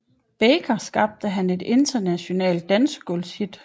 Baker skabte han et internationalt dansegulvshit